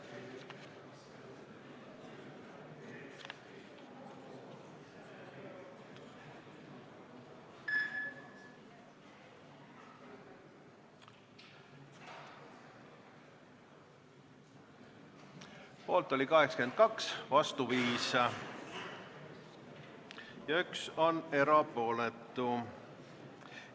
Hääletustulemused Poolt oli 82, vastu 5, 1 on erapooletu.